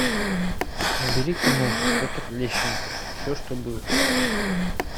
набери киноху петр лещенко все что было